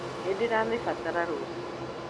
Nĩ ndĩramĩbatara rũciũ.